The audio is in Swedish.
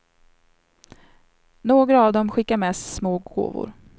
Några av dem skickar med små gåvor.